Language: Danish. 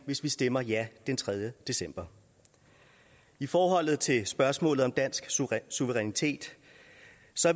hvis man stemmer ja den tredje december i forhold til spørgsmålet om dansk suverænitet